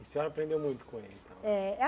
A senhora aprendeu muito com ele, então? É